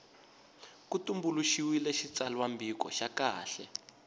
ku tumbuluxiwile xitsalwambiko xa kahle